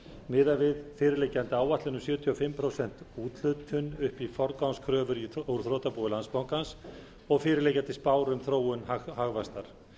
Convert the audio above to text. miðað við fyrirliggjandi áætlun um sjötíu og fimm prósent úthlutun upp í forgangskröfur úr þrotabúi landsbankans og fyrirliggjandi spár um þróun hagvaxtar